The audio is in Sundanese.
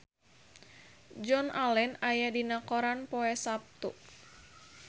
Joan Allen aya dina koran poe Saptu